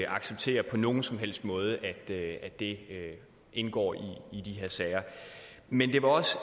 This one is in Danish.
acceptere på nogen som helst måde at det indgår i de her sager men det var også